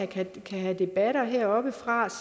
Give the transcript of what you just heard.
kan have debatter heroppefra